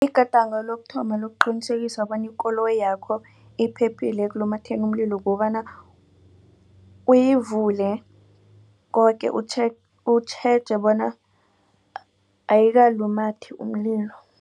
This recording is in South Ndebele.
Igadango lokuthoma lokuqinisekisa bona ikoloyi yakho iphephile ekulumatheni umlilo kukobana uyivule koke. utjheje bona ayikalumathi umlilo.